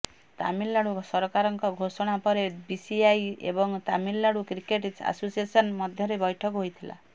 ତାମିଲନାଡୁ ସରକାରଙ୍କ ଘୋଷଣା ପରେ ବିସିସିଆଇ ଏବଂ ତାମିଲନାଡୁ କ୍ରିକେଟ୍ ଆସୋସିଏସନ୍ ମଧ୍ୟରେ ବୈଠକ ହୋଇଥିଲା